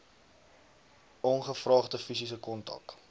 ongevraagde fisiese kontak